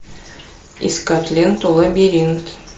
искать ленту лабиринт